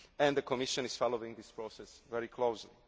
country. The Commission is following this process very